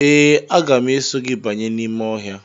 Ee, aga m eso gị banye n’ime ọhịa.